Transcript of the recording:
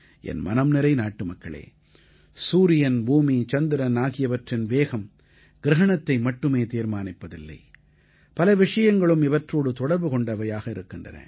என் மனம்நிறை நாட்டுமக்களே சூரியன் பூமி சந்திரன் ஆகியவற்றின் வேகம் கிரஹணத்தை மட்டுமே தீர்மானிப்பதில்லை பல விஷயங்களும் இவற்றோடு தொடர்பு கொண்டவையாக இருக்கின்றன